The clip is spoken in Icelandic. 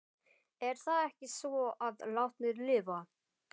Er það ekki svo að látnir lifa?